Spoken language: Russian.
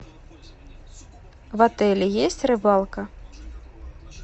в отеле есть рыбалка